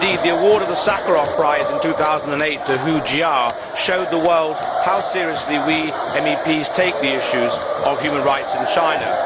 Indeed, the award of the Sakharov Prize in 2008 to Hu Jia showed the world how seriously we MEPs take the issue of human rights in China.